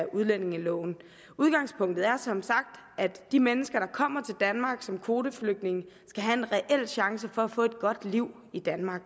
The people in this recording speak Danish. udlændingeloven udgangspunktet er som sagt at de mennesker der kommer til danmark som kvoteflygtninge skal have en reel chance for at få et godt liv i danmark